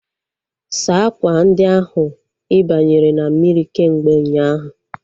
Saa akwa ndi ahu ibianyere na mmiri kemgbe ụnyaahụ!